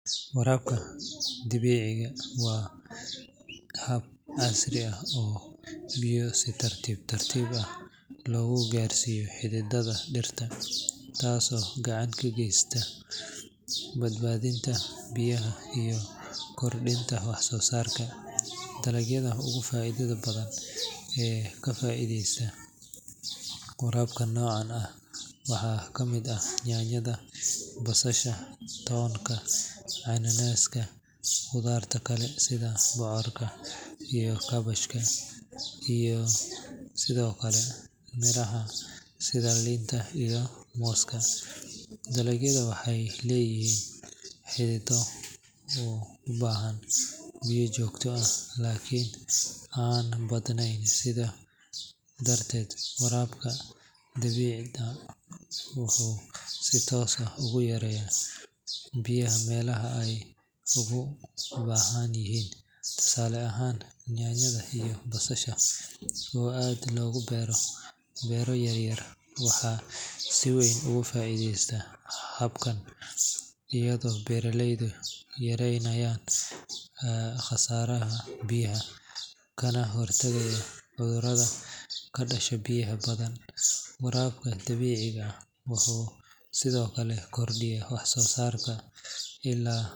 Waraabka dhibicda waa hab casri ah oo biyo si tartiib tartiib ah loogu gaarsiiyo xididada dhirta, taasoo gacan ka geysanaysa badbaadinta biyaha iyo kordhinta wax-soo-saarka. Dalagyada ugu faa’iidada badan ee ka faa’iideysta waraabka noocan ah waxaa ka mid ah yaanyada, basasha, toonka, cananaaska, qudaarta kale sida bocorka iyo kaabashka, iyo sidoo kale miraha sida liinta iyo mooska. Dalagyadan waxay leeyihiin xidido u baahan biyo joogto ah laakiin aan badnayn, sidaas darteed waraabka dhibicda wuxuu si toos ah ugu geeyaa biyaha meelaha ay ugu baahan yihiin. Tusaale ahaan, yaanyada iyo basasha oo aad loogu beero beero yaryar waxay si weyn uga faa’iideystaan habkan, iyadoo beeraleydu yareynayaan khasaaraha biyaha, kana hortagayaan cudurrada ka dhasha biyaha badan. Waraabka dhibicda wuxuu sidoo kale kordhiyaa wax-soo-saarka.